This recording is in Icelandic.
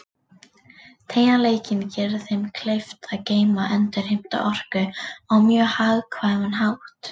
Teygjanleikinn gerir þeim kleift að geyma og endurheimta orku á mjög hagkvæman hátt.